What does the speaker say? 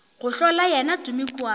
go hlola yena tumi kua